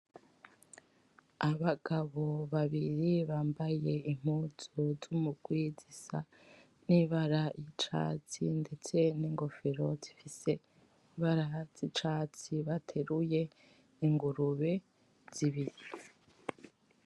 Abagabo babiri bambaye impuzu z'umugwi zisa n'ibara ry'icatsi ndetse n'ingofero zifise ibara zicatsi bateruye ingurube zibiri.